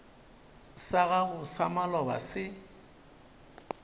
sa gago sa maloba se